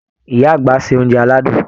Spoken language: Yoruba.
Ìyá àgbà ṣe oúnjẹ aládùn.